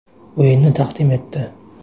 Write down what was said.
o‘yinini taqdim etdi.